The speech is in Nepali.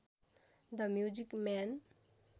the music man